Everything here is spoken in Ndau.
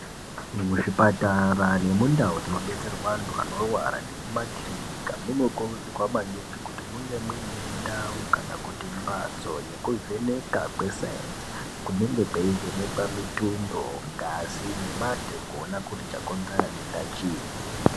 Muzvipatara nemundau dzinobetserwa antu anorwara nemumakirika munokuridzirwa maningi kuti munge muine ndau kana kuti mbatso yekuvheneka kwesayenzi kunenge kweivhenekwa mitundo , ngazi nematenda kuona kuti chakainzera denda chiinyi.